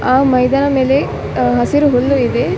ಆ ಮೈದಾನದ ಮೇಲೆ ಹಸಿರು ಹುಲ್ಲು ಇದೆ.